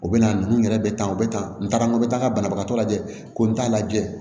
U bɛ na ninnu yɛrɛ bɛ tan o bɛ tan n taara n bɛ taa banabagatɔ lajɛ ko n t'a lajɛ